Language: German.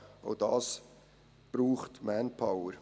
Auch das braucht Manpower.